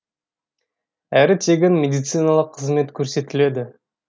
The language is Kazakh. әрі тегін медициналық қызмет көрсетіледі